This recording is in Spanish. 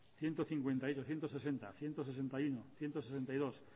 ciento cincuenta y uno ciento sesenta ciento sesenta y uno ciento sesenta y dos